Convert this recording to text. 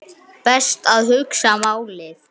Best að hugsa málið.